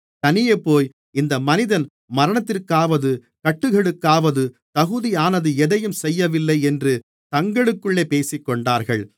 தனியேபோய் இந்த மனிதன் மரணத்திற்காவது கட்டுகளுக்காவது தகுதியானது எதையும் செய்யவில்லை என்று தங்களுக்குள்ளே பேசிக்கொண்டார்கள்